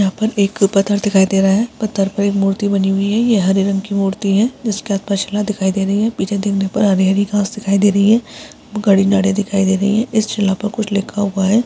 यहाँ पर एक पत्थर दिखाई दे रहा है पत्थर पर एक मूर्ति बनी हुई है ये हरे रंग की मूर्ति है इसके बाद पछला दिखाई दे रही हैपीछे वहाँ पर हरी-हरी घास दिखाई दे रही है गड़ी नाड़े दिखाई दे रही है इस शिला पर कुछ लिखा हुआ है।